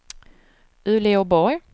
Uleåborg